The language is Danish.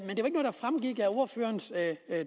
ordførerens